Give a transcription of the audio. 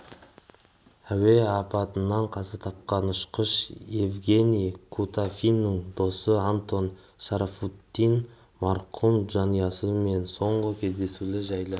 әуе апатынан қаза тапқан ұшқыш евгений кутафиннің досы антон шарафутдинов марқұмның жанұясы мен соңғы кездесулері жайлы